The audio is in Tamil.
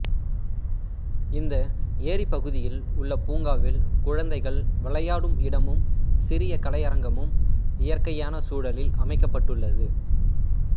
இந்த ஏரிப்பகுதியில் உள்ள பூங்காவில் குழந்தைகள் விளையாடும் இடமும் சிறிய கலையரங்கமும் இயற்கையான சூழலில் அமைக்கப்பட்டுள்ளது